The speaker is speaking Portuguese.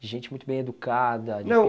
De gente muito bem educada... Não.